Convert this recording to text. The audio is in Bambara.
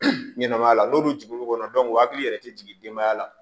ɲɛnɛmaya la n'olu jiginn'u kɔnɔ u hakili yɛrɛ tɛ jiginmaya la